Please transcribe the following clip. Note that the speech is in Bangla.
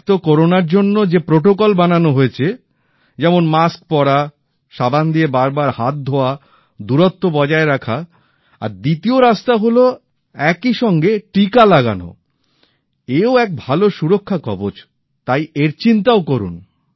এক তো করোনার জন্য যে নিয়ম তৈরি করা হয়েছে যেমন মাস্ক পরা সাবান দিয়ে বারবার হাত ধোয়া দূরত্ব বজায় রাখা আর দ্বিতীয় রাস্তা হল একই সঙ্গে টিকা লাগানো এও এক ভালো সুরক্ষা কবচ তাই তার চিন্তাও করুন